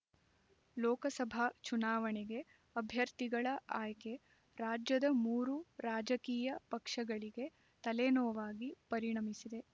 ಲೋಕಸಭಾ ಚುನಾವಣೆಗೆ ಅಭ್ಯರ್ಥಿಗಳ ಆಯ್ಕೆ ರಾಜ್ಯದ ಮೂರು ರಾಜಕೀಯ ಪಕ್ಷಗಳಿಗೆ ತಲೆನೋವಾಗಿ ಪರಿಣಮಿಸಿದೆ